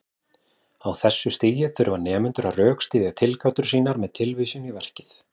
Á þessu stigi þurfa nemendur að rökstyðja tilgátur sínar með tilvísun í verkið.